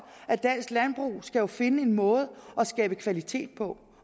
at dansk landbrug skal finde en måde at skabe kvalitet på